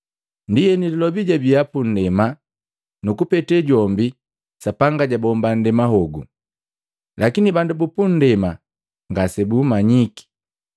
Ndienu Lilobi jabii pundema nu kupete jombi, Sapanga jabomba nndema hogu, lakini bandu bupundema ngasebummanyiki.